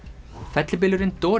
fellibylurinn